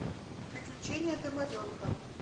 приключения домовенка